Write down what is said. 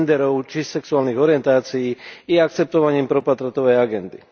genderov či sexuálnych orientácií i akceptovaním propotratovej agendy.